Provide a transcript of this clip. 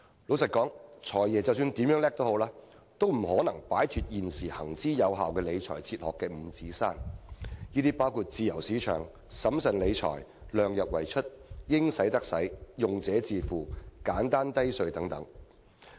坦白說，無論"財爺"如何了得，亦不可能擺脫現時行之有效的理財哲學五指山，包括自由市場、審慎理財、量入為出、"應使則使"、用者自付和簡單低稅等原則。